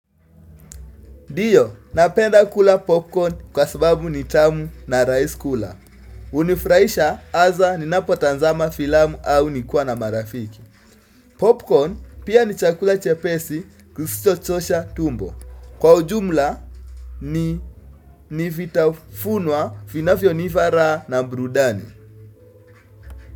Diyo, napenda kula popcorn kwa sababu ni tamu na raisi kula. Unifraisha aza ninapotanzama filamu au nikiwa na marafiki. Popcorn pia ni chakula chepesi kusicho chosha tumbo. Kwa ujumla ni nivitafunwa finafio nifara na mbrudani.